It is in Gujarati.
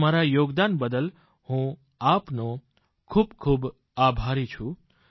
તમારા યોગદાન બદલ હું આપનો ખૂબ આભારી છું